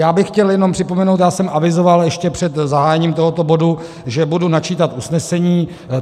Já bych chtěl jenom připomenout, já jsem avizoval ještě před zahájením tohoto bodu, že budu načítat usnesení.